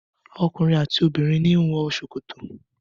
Ọkunrin ati obinrin ni wọn wọ sokoto